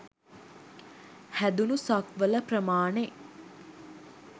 හැදුනු සක්වල ප්‍රමාණෙ